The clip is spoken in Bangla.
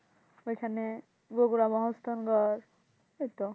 ওইখানে ওইতো